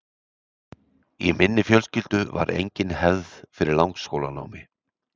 Í minni fjölskyldu var engin hefð fyrir langskólanámi.